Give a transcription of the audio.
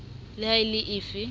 le ha e le efe